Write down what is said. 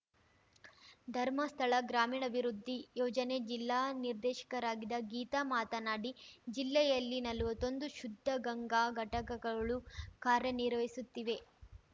ಧರ್ಮಸ್ಥಳ ಗ್ರಾಮೀಣಾಭಿವೃದ್ಧಿ ಯೋಜನೆ ಜಿಲ್ಲಾ ನಿರ್ದೇಶಕರಾಗಿದ್ದ ಗೀತಾ ಮಾತನಾಡಿ ಜಿಲ್ಲೆಯಲ್ಲಿ ನಲ್ವತ್ತೊಂದು ಶುದ್ಧಗಂಗಾ ಘಟಕಗಳು ಕಾರ್ಯನಿರ್ವಹಿಸುತ್ತಿವೆ